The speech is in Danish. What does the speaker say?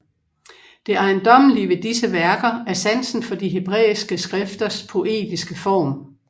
Det ejendommelige ved disse værker er sansen for de hebræiske skrifters poetiske form